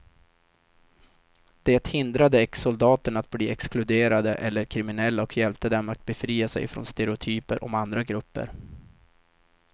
Det hindrade exsoldaterna att bli exkluderade eller kriminella och hjälpte dem att befria sig från stereotyper om andra grupper.